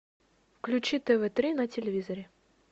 включи тв три на телевизоре